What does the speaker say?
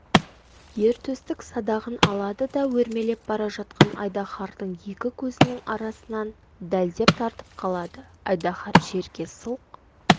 ер төстік садағын алады да өрмелеп бара жатқан айдахардың екі көзінің арасынан дәлдеп тартып қалады айдаһар жерге сылқ